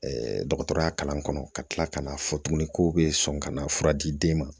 dɔgɔtɔrɔya kalan kɔnɔ ka tila ka n'a fɔ tuguni ko bɛ sɔn ka na fura di den ma